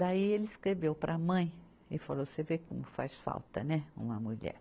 Daí ele escreveu para a mãe e falou, você vê como faz falta, né, uma mulher.